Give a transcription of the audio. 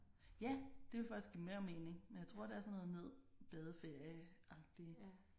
Ja det ville faktisk give mere mening men jeg tror det er sådan noget ned badeferieagtigt